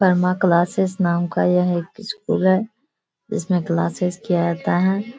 परमा नाम का यह एक स्कूल है जिसमें क्लासेज किया जाता है।